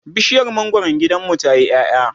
bishiyar mangwaron gidanmu tayi ƴaƴa